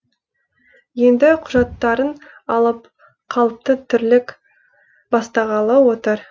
енді құжаттарын алып қалыпты тірлік бастағалы отыр